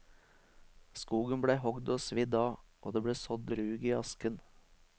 Skogen ble hogd og svidd av, og det ble sådd rug i asken.